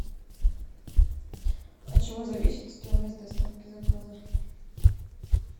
от чего зависит стоимость доставки заказа